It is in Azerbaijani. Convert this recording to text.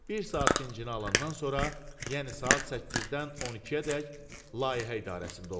Bir saat dincini alandan sonra, yəni saat 8-dən 12-ədək Layihə İdarəsində olurdu.